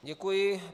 Děkuji.